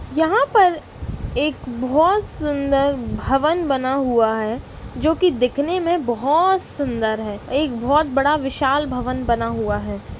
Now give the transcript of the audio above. यहां पर एक बहुत सुंदर भवन बना हुआ है जो की दिखने में बहुत सुंदर है। एक बहुत बड़ा विशाल भवन बना हुआ है।